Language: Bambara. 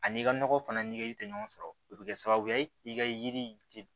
A n'i ka nɔgɔ fana nɛgɛli tɛ ɲɔgɔn sɔrɔ o bɛ kɛ sababu ye k'i ka yiri tigɛ